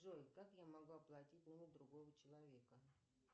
джой как я могу оплатить номер другого человека